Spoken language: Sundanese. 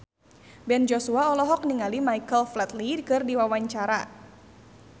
Ben Joshua olohok ningali Michael Flatley keur diwawancara